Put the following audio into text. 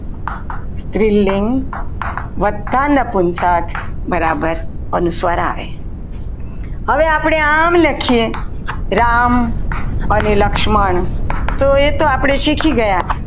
સ્ત્રીલિંગ વતા નપુંસક બરાબર અનુસ્વાર આવે હવે આપણે આમ લખીએ રામ અને લક્ષ્મણ તો એ તો આપણે શીખી ગયા.